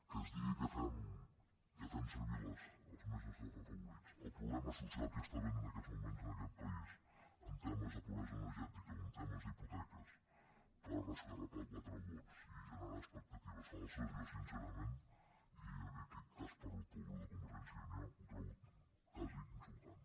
que es digui que fem servir els més desafavorits el problema social que hi ha en aquests moments en aquest país en temes de pobresa energètica o en temes d’hipoteques per esgarrapar quatre vots i generar expectatives falses jo sincerament i en aquest cas parlo pel grup de convergència i unió ho trobo quasi insultant